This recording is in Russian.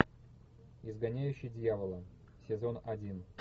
изгоняющий дьявола сезон один